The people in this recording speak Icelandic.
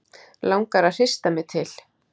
Langar að hrista mig til.